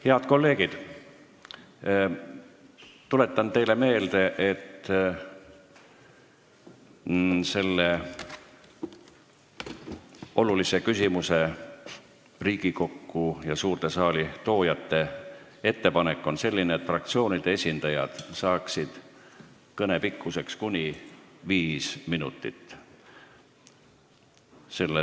Head kolleegid, tuletan teile meelde, et selle olulise küsimuse Riigikokku ja suurde saali toojate ettepanek on selline, et fraktsioonide esindajad saaksid kõne pikkuseks kuni viis minutit.